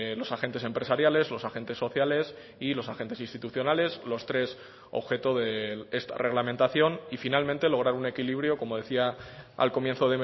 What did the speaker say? los agentes empresariales los agentes sociales y los agentes institucionales los tres objeto de esta reglamentación y finalmente lograr un equilibrio como decía al comienzo